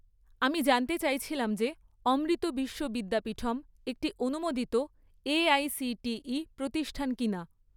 আমি জানতে চাইছিলাম যে অমৃত বিশ্ব বিদ্যাপীঠম একটি অনুমোদিত এআইসিটিই প্রতিষ্ঠান কিনা?